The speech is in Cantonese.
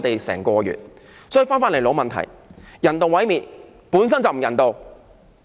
所以，返回老問題，人道毀滅本身就不人道。